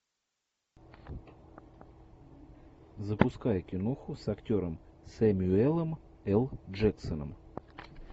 запускай киноху с актером сэмюэлем л джексоном